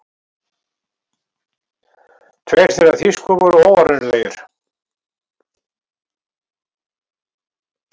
Tveir þeirra þýsku voru óárennilegir.